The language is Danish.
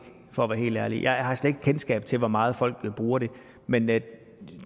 for at være helt ærlig jeg har slet ikke kendskab til hvor meget folk bruger det men